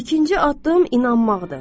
İkinci addım inanmaqdır.